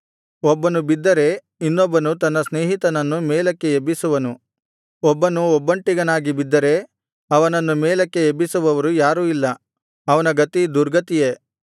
ಒಬ್ಬನು ಬಿದ್ದರೆ ಇನ್ನೊಬ್ಬನು ತನ್ನ ಸ್ನೇಹಿತನನ್ನು ಮೇಲಕ್ಕೆ ಎಬ್ಬಿಸುವನು ಒಬ್ಬನು ಒಬ್ಬಂಟ್ಟಿಗನಾಗಿ ಬಿದ್ದರೆ ಅವನನ್ನು ಮೇಲಕ್ಕೆ ಎಬ್ಬಿಸುವವನು ಯಾರೂ ಇಲ್ಲ ಅವನ ಗತಿ ದುರ್ಗತಿಯೇ